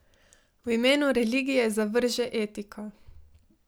V imenu religije zavrže etiko.